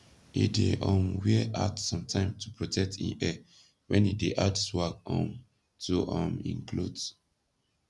e dey um wear hat somtime to protect in hair wen e dey add swag um to um in kloth